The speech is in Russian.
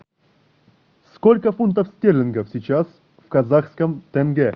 сколько фунтов стерлингов сейчас в казахском тенге